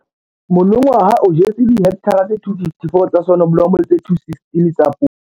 Monongwaha o jetse dihekthara tse 254 tsa soneblomo le tse 216 tsa poone.